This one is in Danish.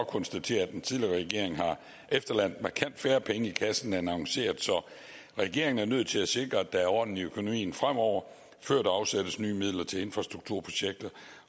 konstatere at den tidligere regering har efterladt markant færre penge i kassen end annonceret så regeringen er nødt til at sikre at der er orden i økonomien fremover før der afsættes nye midler til infrastrukturprojekter